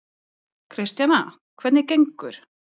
Kristjana: Hvernig gengur?